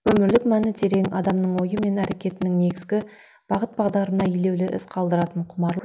өмірлік мәні терең адамның ойы мен әрекетінің негізгі бағыт бағдарына елеулі із қалдыратын құмарлық